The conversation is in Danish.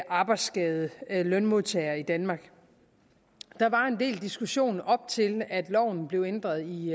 arbejdsskadede lønmodtagere i danmark der var en del diskussion op til at loven blev ændret i